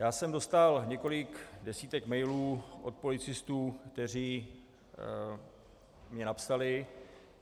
Já jsem dostal několik desítek mailů od policistů, kteří mi napsali.